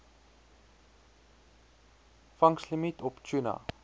vangslimiet op tuna